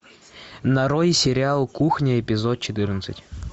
нарой сериал кухня эпизод четырнадцать